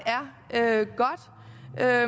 er